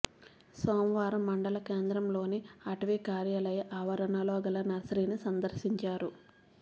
సోమవా రం మండల కేంద్రంలోని అటవీ కార్యాలయ ఆవ రణలోగల నర్సరీని సందర్శించారు